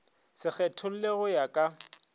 se kgethollwe go ya ka